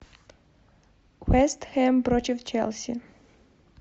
вест хэм против челси